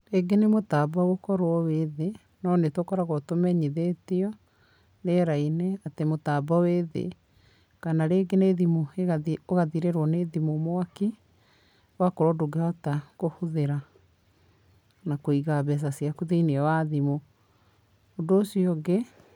Rĩngĩ nĩ mũtambo gũkorwo wĩ thĩ, no nĩ tũkoragwo tũmenyithĩtio, rĩera-inĩ, atĩ mũtambo wĩ thĩ. Kana rĩngĩ nĩ ũgathirĩrwo nĩ thimũ mwaki, ũgakorwo ndũngĩhota kũhũthĩra na kũiga mbeca ciaku thĩinĩ wa thimũ. Ũndũ ũcio ũngi,